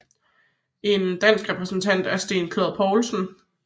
En dansk repræsentant er Sten Clod Poulsen